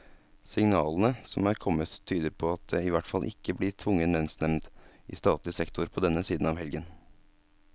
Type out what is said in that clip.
Signalene som er kommet, tyder på at det i hvert fall ikke blir tvungen lønnsnevnd i statlig sektor på denne siden av helgen.